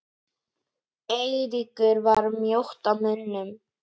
Eiríkur var mjótt á munum?